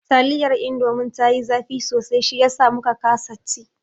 Taliyar indomin ta yi zafi sosai shiyasa muka kasa ci